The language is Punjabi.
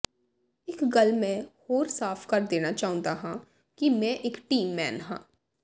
ਇਕ ਗੱਲ ਮੈਂ ਹੋਰ ਸਾਫ਼ ਕਰ ਦੇਣਾ ਚਾਹੁੰਦਾ ਹਾਂ ਕਿ ਮੈਂ ਇਕ ਟੀਮ ਮੈਨ ਹਾਂ